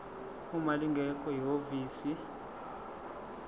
uma lingekho ihhovisi